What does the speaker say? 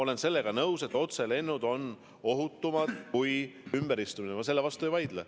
Olen nõus, et otselennud on ohutumad kui ümberistumisega lennud, selle vastu ma ei vaidle.